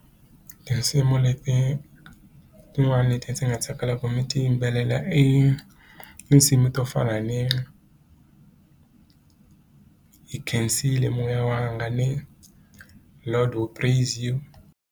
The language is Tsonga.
Tinsimu leti tin'wani leti ndzi nga tsakela ku mi ti yimbelela i tinsimu to fana ni hi khensile moya wanga ni Lord we praise you.